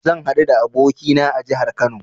Zan haɗu da abokina a jahar Kano